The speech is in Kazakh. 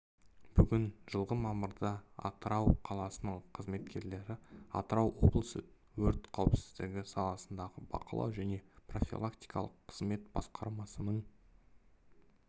бүгін жылғы мамырда атырау қаласының қызметкерлері атырау облысы өрт қауіпсіздігі саласындағы бақылау және профилактикалық қызмет басқармасының